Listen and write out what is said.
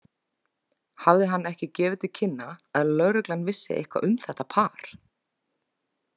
Hafði hann ekki gefið til kynna að lögreglan vissi eitthvað um þetta par?